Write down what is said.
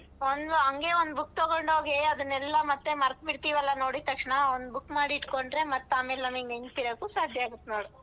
ಒಂದು ಹಂಗೆ ಒಂದು book ತಗೊಂಡ್ ಹೋಗೆ ಅದನ್ನೆಲ್ಲ ಮತ್ತೆ ಮರ್ತ್ಬಿಡ್ತಿವಲ್ಲ ನೋಡಿದ್ ತಕ್ಷಣ ಒಂದ್ book ಮಾಡಿಟ್ಕೊಂಡ್ರೆ ಮತ್ತ್ ಆಮೇಲ್ ನಮಿಗ್ ನೆನ್ಪ್ ಇರಕ್ಕು ಸಾಧ್ಯ ಆಗತ್ತ್ ನೋಡು.